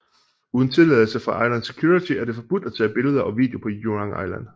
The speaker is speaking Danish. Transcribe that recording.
Uden tilladelse fra Island Security er det forbudt at tage billeder og video på Jurong Island